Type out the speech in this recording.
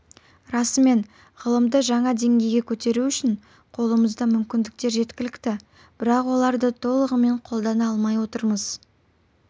расымен ғылымды жаңа деңгейге көтеру үшін қолымызда мүмкіндіктер жеткілікті бірақ оларды толығымен қолдана алмай отырмыз